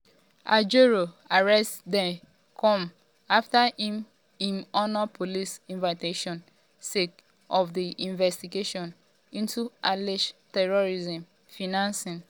ajaero arrest dey come um afta im im honour police invitation sake um of di investigation into alleged terrorism financing.